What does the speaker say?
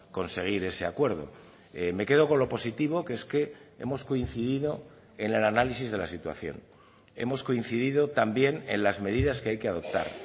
conseguir ese acuerdo me quedo con lo positivo que es que hemos coincidido en el análisis de la situación hemos coincidido también en las medidas que hay que adoptar